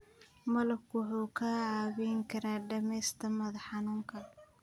Malabku wuxuu kaa caawin karaa dhimista madax xanuunka.